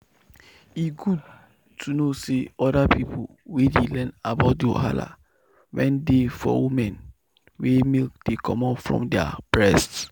e good to know say other people dey learn about the wahala wen dey for women wey milk dey comot for their breast.